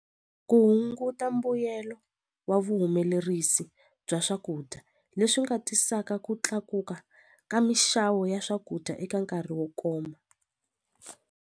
Ku hunguta mbuyelo wa vuhumelerisi bya swakudya leswi nga tisaka ku tlakuka ka mixavo ya swakudya eka nkarhi wo koma.